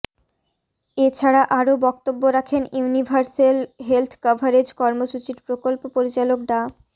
এ ছাড়া আরও বক্তব্য রাখেন ইউনিভার্সেল হেলথ কাভারেজ কর্মসূচির প্রকল্প পরিচালক ডা